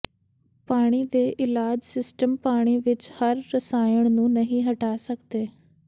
ਪਾਣੀ ਦੇ ਇਲਾਜ ਸਿਸਟਮ ਪਾਣੀ ਵਿੱਚ ਹਰ ਰਸਾਇਣ ਨੂੰ ਨਹੀਂ ਹਟਾ ਸਕਦੇ